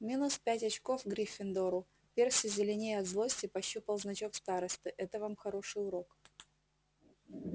минус пять очков гриффиндору перси зеленея от злости пощупал значок старосты это вам хороший урок